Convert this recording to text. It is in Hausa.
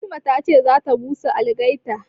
Fatima ta ce za ta busa algaita